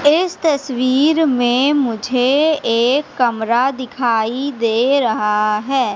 इस तस्वीर में मुझे एक कमरा दिखाई दे रहा है।